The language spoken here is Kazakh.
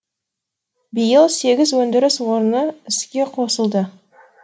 биыл сегіз өндіріс орны іске қосылды